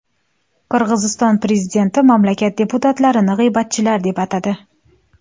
Qirg‘iziston prezidenti mamlakat deputatlarini g‘iybatchilar deb atadi.